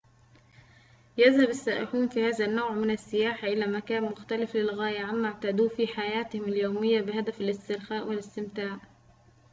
يذهب السائحون في هذا النوع من السياحة يذهب إلى مكان مختلف للغاية عما اعتادوه في حياتهم اليومية بهدف الاسترخاء والاستمتاع